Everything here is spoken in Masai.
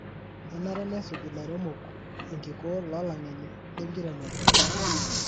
Kenare nesuj ilairemok enkikoo lolangeni lenkiremore.